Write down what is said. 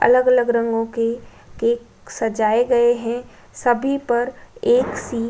अलग-अलग रंगों के केक सजाए गए हैं सभी पर एक सी --